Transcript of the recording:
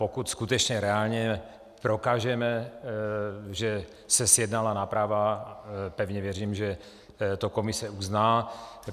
Pokud skutečně reálně prokážeme, že se zjednala náprava, pevně věřím, že to Komise uzná.